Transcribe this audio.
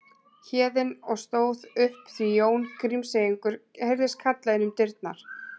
Héðinn og stóð upp því Jón Grímseyingur heyrðist kalla inn um dyrnar